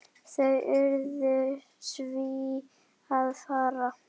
Þau urðu því að fara.